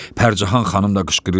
Pərcəhan xanım da qışqırır: